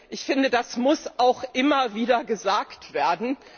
Ich finde, das muss auch immer wieder gesagt werden.